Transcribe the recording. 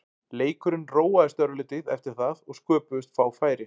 Leikurinn róaðist örlítið eftir það og sköpuðust fá færi.